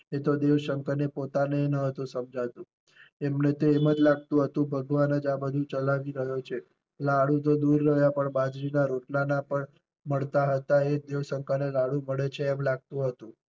એ તો દેવ શંકર ને પોતાનેય નતું સમજાતું. એમણે તો એમ જ લાગતું હતું ભગવાન જ આ બધુ ચલાવી રહ્યો છે. લાડુ તો દૂર રહ્યા પણ બાજરી ના રોટલા ના પણ મળતા હતા એ દેવ શંકર ને લાડુ મળે છે એમ લાગતું હતું.